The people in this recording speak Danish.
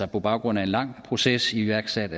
på baggrund af en lang proces iværksat